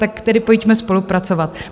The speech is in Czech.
Tak tedy pojďme spolupracovat.